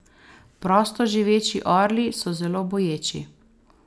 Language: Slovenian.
Prostoživeči orli so zelo boječi.